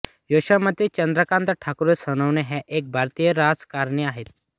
यशोमती चंद्रकांत ठाकुर सोनवणे ह्या एक भारतीय राजकारणी आहेत